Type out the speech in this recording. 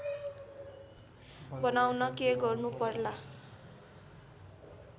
बनाउन के गर्नु पर्ला